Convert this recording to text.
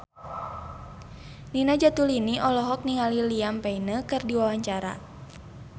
Nina Zatulini olohok ningali Liam Payne keur diwawancara